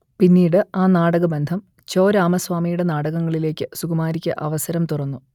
പിന്നീട് ആ നാടകബന്ധം ചോ രാമസ്വാമിയുടെ നാടകങ്ങളിലേക്ക് സുകുമാരിക്ക് അവസരം തുറന്നു